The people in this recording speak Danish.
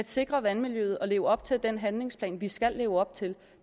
sikring af vandmiljøet og leve op til den handlingsplan vi skal leve op til